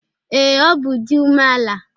Ee, ọ di umeala.